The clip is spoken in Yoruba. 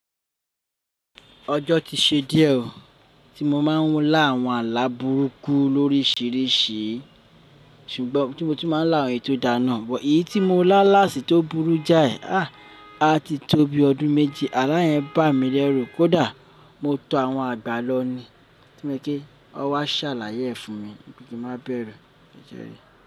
Ọjọ́ ti ṣe díẹ̀ o, tí mo máa ń lá àwọn ààlà burúkú lórísìíríṣìí ṣùgbọ́n tí mo tún máa ń lá àwọn èyí tó dára ná. Ṣùgbọ́n èyí tí mo lá láàsì tó burú jáì, a ti tó bi ọdún méje. Ààlà yẹn bà mí lẹ́rù. Kódà mo to àwọn àgbà lọ ní kí wọ́n wá ṣàlàyé fún mi bí kí má bẹ̀rù. Kìí jẹ́rí.